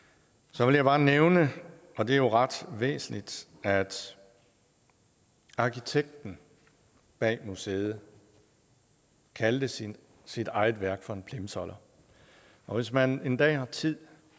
så vil jeg bare nævne og det er jo ret væsentligt at arkitekten bag museet kaldte sit sit eget værk for en plimsoller og hvis man en dag har tid